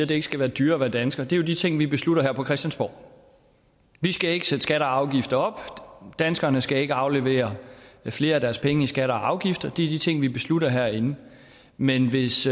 det ikke skal være dyrere at være dansker er de ting vi beslutter her på christiansborg vi skal ikke sætte skatter og afgifter op danskerne skal ikke aflevere flere af deres penge i skatter og afgifter det er de ting vi beslutter herinde men hvis